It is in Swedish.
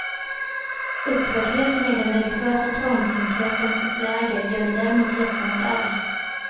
Upprördheten i den religiösa trångsynthetens läger gör mig däremot ledsen och arg.